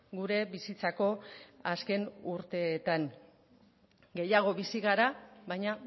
gure bizitzako azken urteetan gehiago bizi gara baina